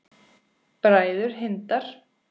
Bræður Hindar